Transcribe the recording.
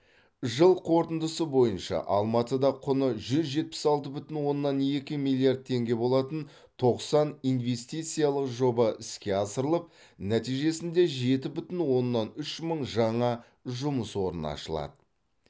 жыл қорытындысы бойынша алматыда құны жүз жетпіс алты бүтін оннан екі миллиард теңге болатын тоқсан инвестициялық жоба іске асырылып нәтижесінде жеті бүтін оннан үш мың жаңа жұмыс орны ашылады